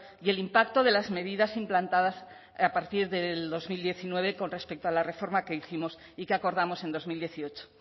y el impacto de las medidas implantadas a partir del dos mil diecinueve con respecto a la reforma que hicimos y que acordamos en dos mil dieciocho